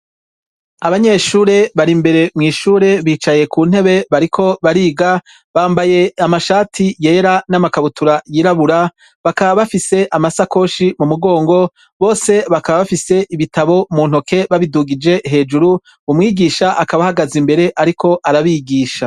abanyeshure bari mbere mw’ ishure bicaye ku ntebe bariko bariga bambaye amashati yera n'amakabutura yirabura bakaba bafise amasakoshi mu mugongo bose bakaba bafise ibitabo mu ntoke babidugije hejuru umwigisha akaba ahagaza imbere ariko arabigisha